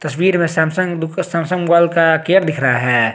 तस्वीर में Samsung Samsung mobile का केयर दिख रहा है।